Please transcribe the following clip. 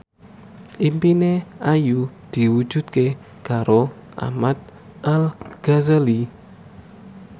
impine Ayu diwujudke karo Ahmad Al Ghazali